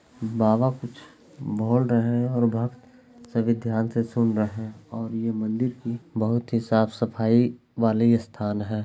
बाबा कुछ बोल रहे है और भक्त सभी ध्यान से सुन रहे और यह मंदिर भी बहुत ही साफ-सफाई वाले स्थान है।